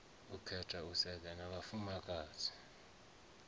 khetha u sedzana na vhafumakadzi